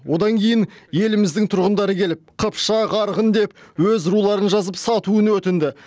одан кейін еліміздің тұрғындары келіп қыпшақ арғын деп өз руларын жазып сатуын өтінді